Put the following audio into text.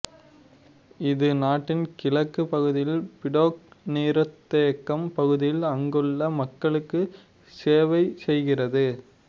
இது நாட்டின் கிழக்குப் பகுதியில் பிடோக் நீர்த்தேக்கம் பகுதியில் அங்குள்ள மக்களுக்கு செவைசெய்கிறது